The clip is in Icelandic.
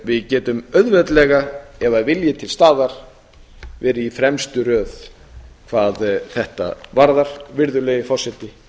við getum auðveldlega ef vilji er til staðar verið í fremstu röð hvað þetta varðar virðulegi forseti